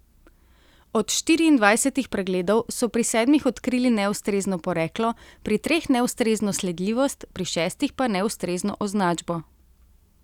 Od štiriindvajsetih pregledov so pri sedmih odkrili neustrezno poreklo, pri treh neustrezno sledljivost, pri šestih pa neustrezno označbo.